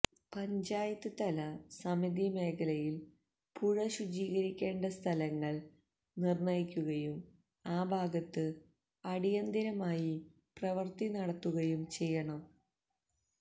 പഞ്ചായത്ത് തല സമിതി മേഖലയിൽ പുഴ ശുചീകരിക്കേണ്ട സ്ഥലങ്ങൾ നിർണ്ണയിക്കുകയും ആ ഭാഗത്ത് അടിയന്തിരമായി പ്രവർത്തി നടത്തുകയും ചെയ്യണം